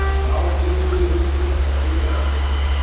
Þá trúirðu ugglaust á friðþæginguna.